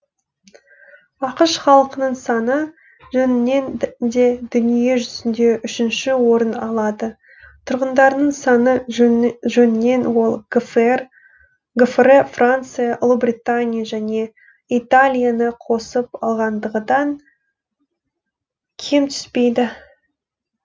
ақш халқының саны жөнінен де дүние жүзінде үшінші орын алады тұрғындарының саны жөнінен ол гфр франция ұлыбритания және италияны қосып алғандағыдан кем түспейді